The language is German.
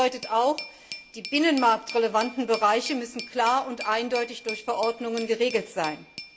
Das bedeutet auch Die binnenmarktrelevanten Bereiche müssen klar und eindeutig durch Verordnungen geregelt sein.